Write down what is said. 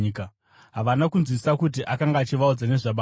Havana kunzwisisa kuti akanga achivaudza nezvaBaba.